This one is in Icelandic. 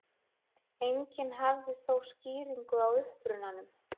Enginn hafði þó skýringu á upprunanum.